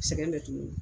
Sɛgɛn bɛ tuguni